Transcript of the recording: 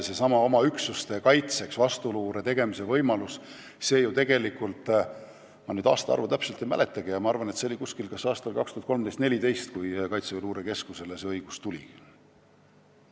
Seesama oma üksuste kaitseks vastuluure tegemise võimalus – ma täpset aastaarvu ei mäletagi, aga ma arvan, et see oli kas aastal 2013 või 2014, kui Kaitseväe Luurekeskus selle õiguse sai.